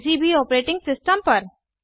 किसी भी operating system पर